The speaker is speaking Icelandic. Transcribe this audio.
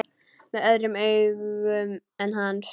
Með öðrum augum en hans.